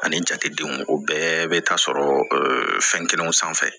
Ani jatedenw o bɛɛ bɛ taa sɔrɔ fɛn kelenw sanfɛ